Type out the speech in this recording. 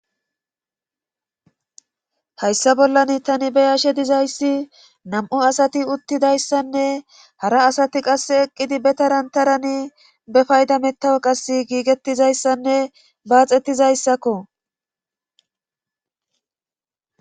hayssa bollan tani be yashe dizayssi nam7o asati uttidayssanne hara asati qass eqqidi be taran tarani be payda mettawo qas giigettizayssanne baaxettizayssakko